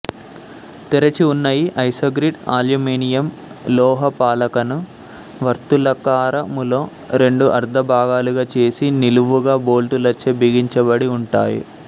తెరచి ఉన్నఈ isogrid aluminium లోహపలకను వర్తులాకారములో రెండు అర్ధభాగాలుగా చేసి నిలువుగా బోల్టులచే బిగించబడి ఉంటాయి